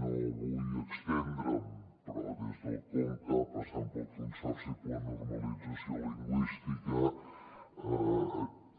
no vull estendre’m però des del conca passant pel consorci per a la normalització lingüística